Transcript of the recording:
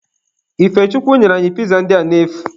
Ifechukwu nyere anyị piza ndị a n'efu.